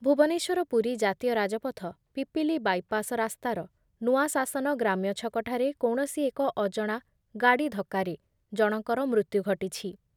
ଭୁବନେଶ୍ୱରରୁ ପୁରୀ ଜାତୀୟ ରାଜପଥ ପିପିଲି ବାଇପାସ ରାସ୍ତାର ନୂଆଶାସନ ଗ୍ରାମ୍ୟଛକ ଠାରେ କୌଣସି ଏକ ଅଜଣା ଗାଡ଼ି ଧକ୍କାରେ ଜଣଙ୍କର ମୃତ୍ୟୁ ଘଟିଛି ।